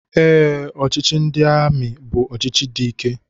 Ee, ọchịchị ndị amị bu ọchịchị dị ike